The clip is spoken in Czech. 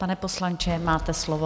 Pane poslanče, máte slovo.